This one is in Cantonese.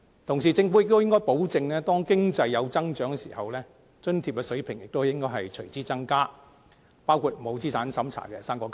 同時，政府亦應該保證當經濟有增長時，津貼水平亦應該隨之增加，包括不設資產審查的"生果金"。